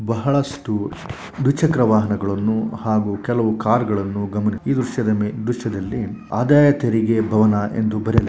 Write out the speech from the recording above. ಬಹಳಷ್ಟು ದ್ವಿಚಕ್ರ ವಾಹನಗಳನ್ನು ಹಾಗೂ ಕೆಲವು ಕಾರುಗಳನ್ನು ಗಮನ ಈ ದೃಶ್ಯದಲ್ಲಿ ಆದಾಯ ತೆರಿಗೆ ಭವನ ಎಂದು ಬರೆಯಲಾಗಿದೆ.